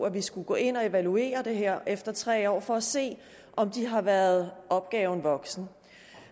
at vi skulle gå ind og evaluere det her efter tre år for at se om de har været opgaven voksen